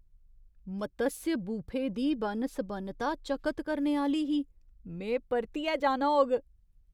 मत्स्य buffet दी बन्न सबन्नता चकत करने आह्‌ली ही! में परतियै जाना होग।